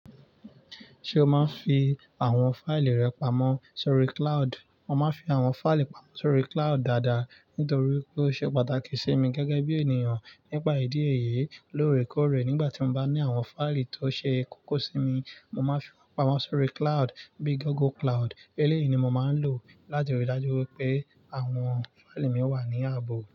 Ṣé o máa ń fi àwọn fáìlì rẹ pamọ́ sórí cloud? Mo máa ń fi àwọn fáìlì pamọ́ sórí cloud dáadáa, nítorí pé ó ṣe pàtàkì sí mi gẹ́gẹ́ bí ènìyàn nípa ìdí ẹyẹ lóore kóòrè. Nígbà tí mo bá ní àwọn fáìlì tó ṣe kókó sí mi, mo máa ń fi wọ́n pamọ́ sórí cloud bíi Google Cloud. Eléyìí ni mo máa ń lò láti rí i dájú pé àwọn fáìlì mi wà ní ààbò.